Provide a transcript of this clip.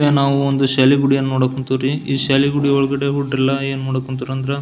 ಇಲ್ಲಿ ನಾವು ಒಂದು ಶಾಲೆ ಗುಡಿಯನ್ನ ನೋಡಕ್ ಹೋನ್ತಿವ್ರಿ ಈ ಶಾಲೆ ಗುಡಿಯೊಳಗಡೆ ಹುಡುಗ್ರೆಲ್ಲಾ ಏನ್ ಮಾಡಕ್ ಹೊಂಟಾರ್ ಅಂದ್ರ--